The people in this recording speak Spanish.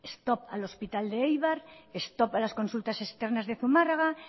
stop al hospital de eibar stop a las consultas externas de zumarraga